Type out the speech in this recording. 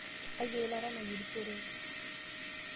Iyakaki eilata nayierishoreki